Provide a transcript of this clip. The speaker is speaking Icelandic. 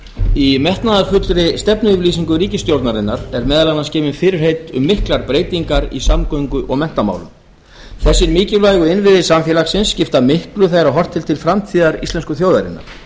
í metnaðarfullri stefnuyfirlýsingu ríkisstjórnarinnar eru meðal annars gefin fyrirheit um miklar breytingar í samgöngu og menntamálum þessir mikilvægu innviðir samfélagsins skipta miklu þegar horft er til framtíðar íslensku þjóðarinnar